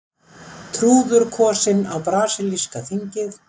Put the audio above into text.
Trúður kosinn á brasilíska þingið